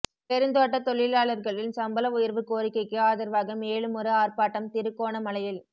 பெருந்தோட்டத் தொழிலாளர்களின் சம்பள உயர்வுக் கோரிக்கைக்கு ஆதரவாக மேலுமொரு ஆர்ப்பாட்டம் திருகோணமலையில்